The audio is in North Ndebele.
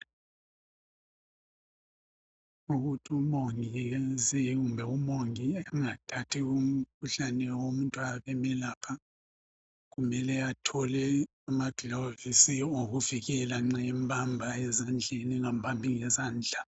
Ukuthi umongikazi kumbe umongi engathathi umkhuhlane womuntu ayabemelapha kumele athole amagilovisi okuvikela nxa embamba ezandleni engambambi ngezandla .